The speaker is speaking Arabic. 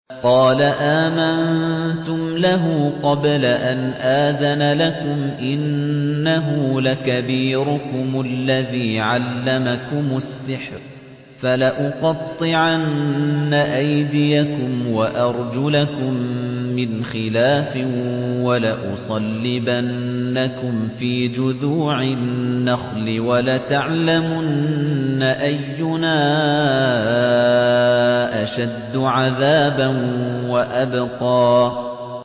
قَالَ آمَنتُمْ لَهُ قَبْلَ أَنْ آذَنَ لَكُمْ ۖ إِنَّهُ لَكَبِيرُكُمُ الَّذِي عَلَّمَكُمُ السِّحْرَ ۖ فَلَأُقَطِّعَنَّ أَيْدِيَكُمْ وَأَرْجُلَكُم مِّنْ خِلَافٍ وَلَأُصَلِّبَنَّكُمْ فِي جُذُوعِ النَّخْلِ وَلَتَعْلَمُنَّ أَيُّنَا أَشَدُّ عَذَابًا وَأَبْقَىٰ